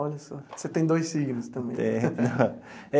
Olha só, você tem dois signos também. Tenho.